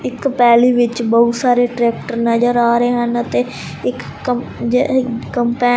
ਇੱਕ ਪੈਲੀ ਵਿੱਚ ਬਹੁਤ ਸਾਰੇ ਟਰੈਕਟਰ ਨਜ਼ਰ ਆ ਰਹੇ ਹਨ ਅਤੇ ਇੱਕ --